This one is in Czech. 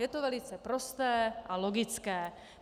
Je to velice prosté a logické.